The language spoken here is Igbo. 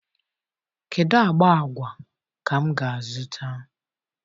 Kedu agba agwa ka m ga-azụta?